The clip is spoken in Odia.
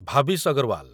ଭାବିଶ ଅଗରୱାଲ